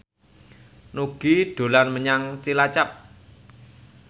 Nugie dolan menyang Cilacap